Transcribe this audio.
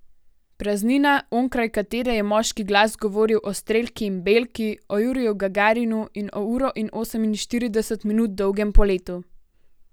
Praznina, onkraj katere je moški glas govoril o Strelki in Belki, o Juriju Gagarinu in o uro in oseminštirideset minut dolgem poletu.